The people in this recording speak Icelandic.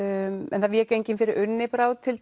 en það vék enginn fyrir Unni Brá til